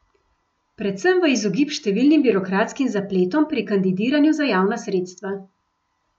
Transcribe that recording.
Predvsem v izogib številnim birokratskim zapletom pri kandidiranju za javna sredstva.